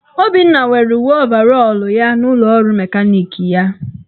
Obinna nwere uwe ovarọl ya n'ụlọọrụ mekaniki ya.